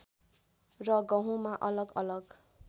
र गहुँमा अलग अलग